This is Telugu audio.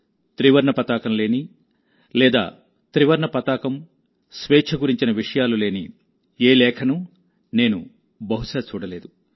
త్రివర్ణ పతాకం లేని లేదా త్రివర్ణ పతాకం స్వేచ్ఛ గురించిన్ విషయాలు లేని ఏ లేఖను నేను బహుశా చూడలేదు